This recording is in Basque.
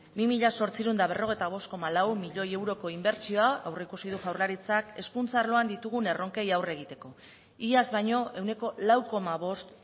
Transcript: bi mila zortziehun eta berrogeita bost koma lau miloi euroko inbertsioa aurreikusi du jaurlaritzak hezkuntza arloan ditugun erronkei aurre egiteko iaz baino ehuneko lau koma bost